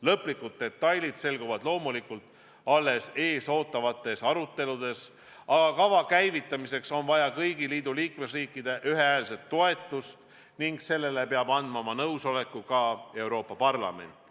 Lõplikud detailid selguvad loomulikult alles eesootavatel aruteludel, aga kava käivitamiseks on vaja kõigi liikmesriikide ühehäälset toetust ning nõusoleku peab andma ka Euroopa Parlament.